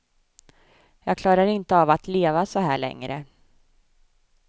Jag klarar inte av att leva så här längre.